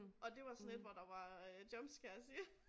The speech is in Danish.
Og det var sådan et hvor der var øh jump scares i